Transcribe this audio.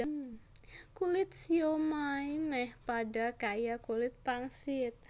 Kulit siomai méh padha kaya kulit pangsit